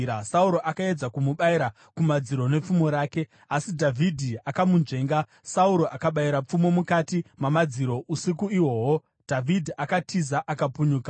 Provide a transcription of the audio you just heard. Sauro akaedza kumubayira kumadziro nepfumo rake, asi Dhavhidhi akamunzvenga Sauro akabayira pfumo mukati mamadziro. Usiku ihwohwo Dhavhidhi akatiza, akapunyuka.